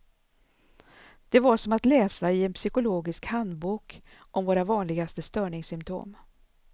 Det var som att läsa i en psykologisk handbok om våra vanligaste störningssymptom.